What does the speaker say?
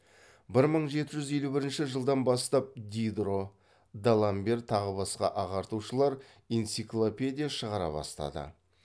бір мың жеті жүз елу бірінші жылдан бастап дидро даламбер тағы басқа ағартушылар энциклопедия шығара бастады